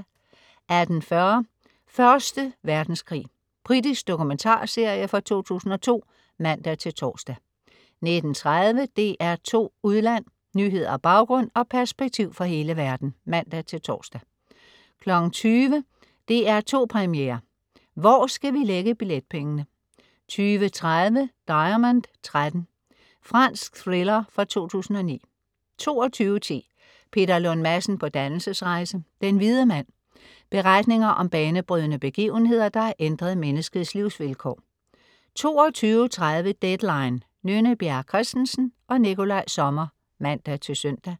18.40 Første Verdenskrig. Britisk dokumentarserie fra 2002 (man-tors) 19.30 DR2 Udland. Nyheder, baggrund og perspektiv fra hele verden (man-tors) 20.00 DR2 Premiere. Hvor skal vi lægge billetpengene? 20.30 Diamond 13. Fransk thriller fra 2009 22.10 Peter Lund Madsen på dannelsesrejse. Den hvide mand. Beretninger om banebrydende begivenheder, der har ændret menneskets livsvilkår 22.30 Deadline. Nynne Bjerre Christensen/Nikolaj Sommer (man-søn)